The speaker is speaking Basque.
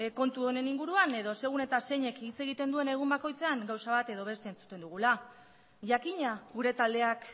kontu honen inguruan edo segun eta zeinek hitz egiten duen egun bakoitzean gauza bat edo beste entzuten dugula jakina gure taldeak